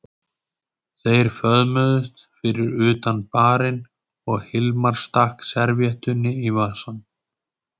Þeir föðmuðust fyrir utan barinn og Hilmar stakk servíettunni í vasann.